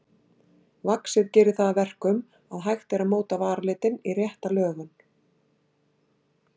Vaxið gerir það að verkum að hægt er að móta varalitinn í rétta lögun.